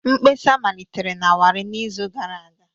Mkpesa malitere na Warri n'izu gara aga